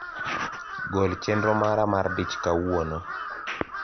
gol chenro mara mar dich kauono